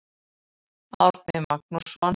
Árni Magnússon.